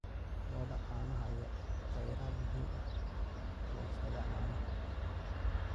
Lo'da caanaha ayaa ah kheyraad muhiim u ah warshadaha caanaha.